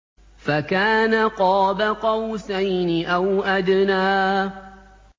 فَكَانَ قَابَ قَوْسَيْنِ أَوْ أَدْنَىٰ